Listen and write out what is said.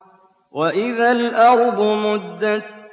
وَإِذَا الْأَرْضُ مُدَّتْ